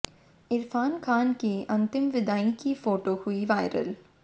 इरफान खान की अंतिम विदाई की फोटो हुई वायरल